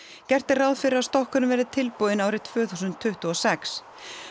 gert er ráð fyrir að stokkurinn verði tilbúinn árið tvö þúsund tuttugu og sex